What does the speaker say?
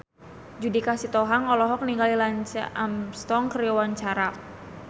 Judika Sitohang olohok ningali Lance Armstrong keur diwawancara